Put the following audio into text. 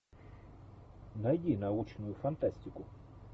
найди научную фантастику